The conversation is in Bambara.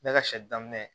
Ne ka sɛ daminɛ